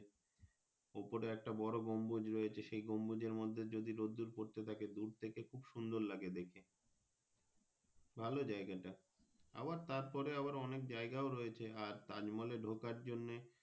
ওপারে একটা বোরো গম্বুজ রয়েছে সেই গম্বুজের মর্ধে যদি রোদুর পড়তে থাকে দুর থেকে খুব সুন্দর লাগে দেখে ভালো যাইগাটা আবার তার পরে আবার অনেক জাইগাও রয়েছে আর তাজ মহলে ঢুকার জন্যে।